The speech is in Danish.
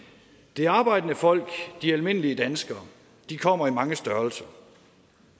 det arbejdende folk de almindelige danskere kommer i mange størrelser